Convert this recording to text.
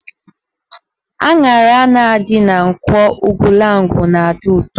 Aṅara a na-adị na Nkwọ Ugwulangwu na-adị ụtọ